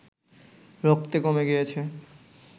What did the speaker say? রক্তে কমে গিয়েছে